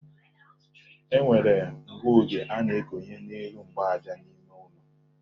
E nwere ngụoge a na-ekonye n'elu mgbaaja n'ime ụlọ.